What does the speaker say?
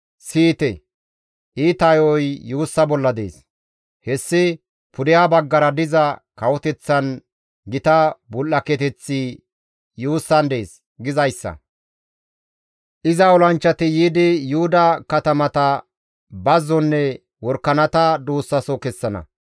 Siyite! Iita yo7oy yuussa bolla dees; hessi, «Pudeha baggara diza kawoteththan gita bul7aketeththi yuussan dees» gizayssa. Iza olanchchati yiidi Yuhuda katamata bazzonne worakanata duussaso kessana.